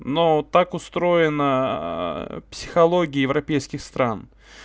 но так устроена психология европейских стран